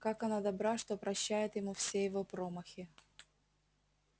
как она добра что прощает ему все его промахи